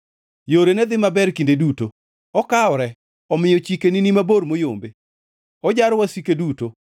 Yorene dhi maber kinde duto, okawore omiyo chikeni ni mabor moyombe; ojaro wasike duto.